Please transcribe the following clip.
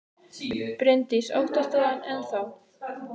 Bryndís: Óttast þú hann enn þá?